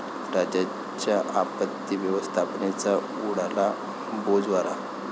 राज्याच्या आपत्ती व्यवस्थापनेचा उडाला बोजवारा